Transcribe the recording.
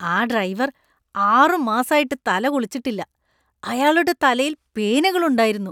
ആ ഡ്രൈവർ ആറുമാസായിട്ട് തല കുളിച്ചിട്ടില്ല. അയാളുടെ തലയിൽ പേനുകൾ ഉണ്ടായിരുന്നു.